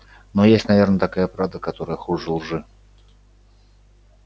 но есть наверное такая правда которая хуже лжи